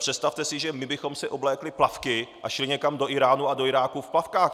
Představte si, že my bychom si oblékli plavky a šli někam do Íránu a do Iráku v plavkách.